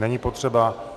Není potřeba.